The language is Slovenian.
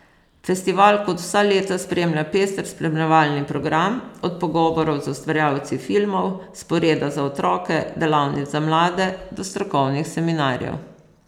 Festival kot vsa leta spremlja pester spremljevalni program, od pogovorov z ustvarjalci filmov, sporeda za otroke, delavnic za mlade, do strokovnih seminarjev.